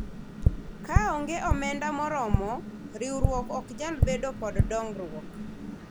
kaonge omenda moromo, riwruok ok nyal bedo kod dongruok